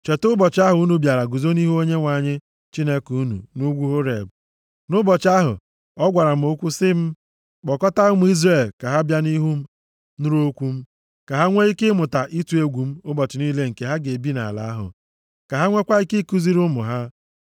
Cheta ụbọchị ahụ unu bịara guzo nʼihu Onyenwe anyị Chineke unu nʼugwu Horeb, nʼụbọchị ahụ ọ gwara m okwu sị m, “Kpọkọtaa ụmụ Izrel ka ha bịa nʼihu m, nụrụ okwu m, ka ha nwee ike mụta ịtụ m egwu ụbọchị niile nke ha ga-ebi nʼala ahụ, ka ha nweekwa ike ikuziri ụmụ ha.”